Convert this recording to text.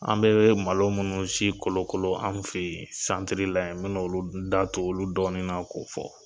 An bɛ malo minnu si kolokolo an fɛ yen la yen n mi na n da d'olu dɔɔnin na k'o fɔ.